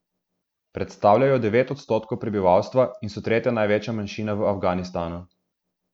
Predstavljajo devet odstotkov prebivalstva in so tretja največja manjšina v Afganistanu.